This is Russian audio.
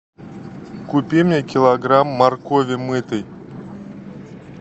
купи мне килограмм моркови мытой